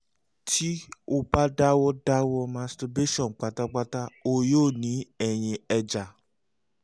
ti o ba dawọ dawọ masturbation patapata o yoo ni ẹyin eja